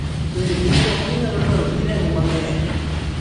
Bende kinde moko ginyalo dwaro pi remo mang'eny